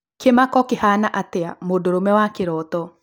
Kĩmako kĩhana atia, mũndũrũme wa kĩroto